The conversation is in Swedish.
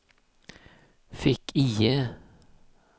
fick-IE